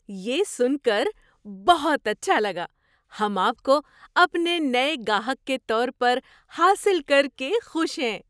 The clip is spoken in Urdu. یہ سن کر بہت اچھا لگا! ہم آپ کو اپنے نئے گاہک کے طور پر حاصل کر کے خوش ہیں۔